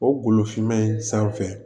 O golo finma in sanfɛ